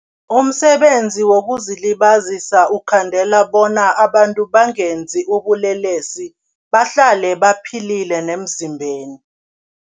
Umsebenzi wokuzilibazisa ukukhandela bona abantu bangenzi ubulelesi bahlale baphilile nemzimbeni.